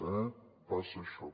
eh passa això